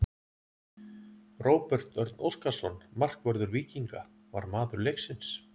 Róbert Örn Óskarsson, markvörður Víkinga, var maður leiksins.